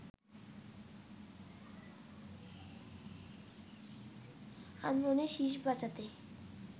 আনমনে শিস বাজাতে